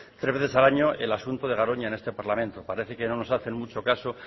tres veces al año el asunto de garoña en este parlamento parece que no nos hacen mucho caso